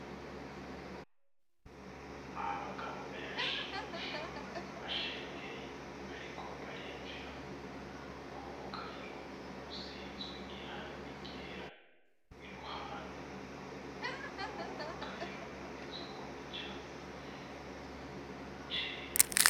Abagabo benshi bashengeye bariko barimvira nk'umugariro usizwe irangi gera, iruhande kuri uwo mugariro handitswe ko icapa cera.